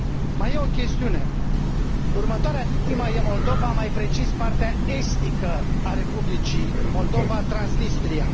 Mai este o chestiune următoarea victimă este Moldova, mai precis, partea estică a Republicii Moldova, Transnistria.